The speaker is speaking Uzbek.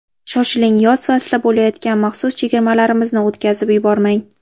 Shoshiling, yoz faslida bo‘layotgan maxsus chegirmalarimizni o‘tkazib yubormang!